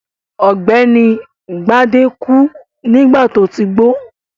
Ọ̀gbẹ́ni Gbadé kú nígbà tó ti gbó.